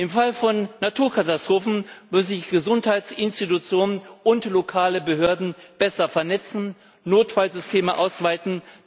Im Fall von Naturkatastrophen müssen sich Gesundheitsinstitutionen und lokale Behörden besser vernetzen, Notfallsysteme ausweiten.